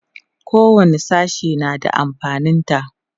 kowani sashe na da amfanin ta